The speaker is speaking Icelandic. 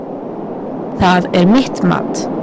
Það er mitt mat.